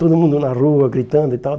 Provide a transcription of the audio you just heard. Todo mundo na rua gritando e tal.